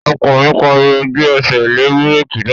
Ọkọ mi pariwo, "Gbé ẹsẹ̀ lé búrèkì náà!"